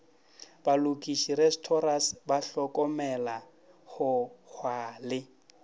balokiši restorers bahlokomela hohwa le